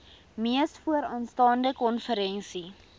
mees vooraanstaande konferensie